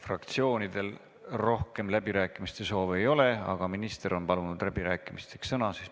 Fraktsioonidel rohkem läbirääkimise soovi ei ole, aga minister on palunud läbirääkimisteks sõna.